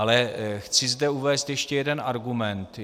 Ale chci zde uvést ještě jeden argument.